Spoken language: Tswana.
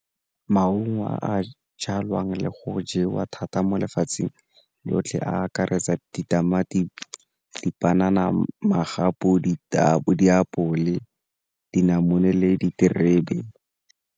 Maungo a a jalwang le go jewa thata mo lefatsheng lotlhe a akaretsa ditamati, dipanana, magapu, ditapole, diapole, dinamune le diterebe.